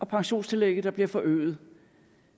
pensionstillægget der bliver forøget